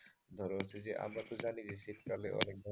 ধরো হচ্ছে যে আমরা তো জানি যে শীতকালে অনেক ধরনের,